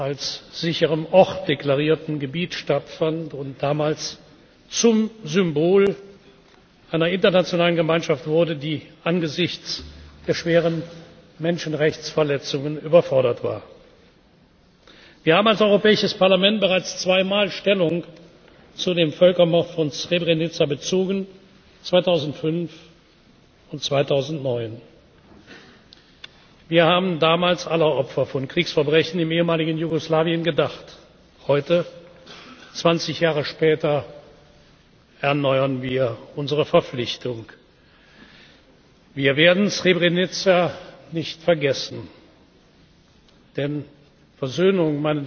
Nationen als sicherer Ort deklarierten Gebiet stattfand und damals zum Symbol einer internationalen Gemeinschaft wurde, die angesichts der schweren Menschenrechtsverletzungen überfordert war. Wir haben als Europäisches Parlament bereits zweimal Stellung zu dem Völkermord von Srebrenica bezogen 2005 und 2009. Wir haben damals aller Opfer von Kriegsverbrechen im ehemaligen Jugoslawien gedacht. Heute 20 Jahre später erneuern wir unsere Verpflichtung Wir werden Srebrenica nicht vergessen. Denn